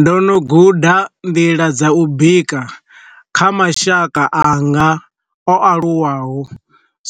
Ndo no guda nḓila dza u bika kha mashaka anga o aluwaho,